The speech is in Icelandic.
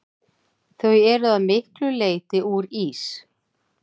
Þau eru að miklu leyti úr ís.